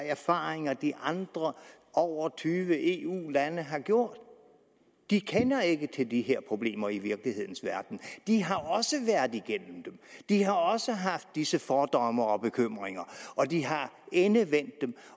erfaringer de andre over tyve eu lande har gjort de kender ikke til de her problemer i virkelighedens verden de har også været igennem dem de har også haft disse fordomme og bekymringer og de har endevendt dem